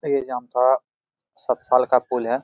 ये जामताड़ा सतसाल का पुल है।